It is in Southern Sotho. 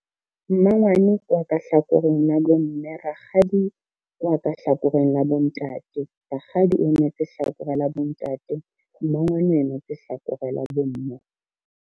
Mmangwane ke wa ka hlakoreng la bomme, rakgadi ke wa ka hlakoreng la bontate. Rakgadi o emetse hlakore la bontate. Mmangwane o emetse tse hlakoreng la bomme.